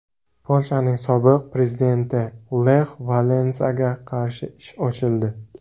Polshaning sobiq prezidenti Lex Valensaga qarshi ish ochildi.